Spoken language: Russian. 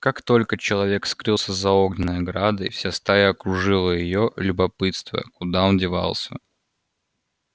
как только человек скрылся за огненной оградой вся стая окружила её любопытствуя куда он девался